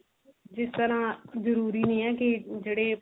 ਜਿਸ ਤਰਾਂ ਜਰੂਰੀ ਨਹੀਂ ਏ ਕੀ ਜਿਹੜੇ